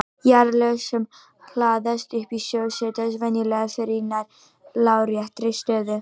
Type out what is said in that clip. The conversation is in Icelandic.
Jarðlög sem hlaðast upp í sjó setjast venjulega fyrir í nær láréttri stöðu.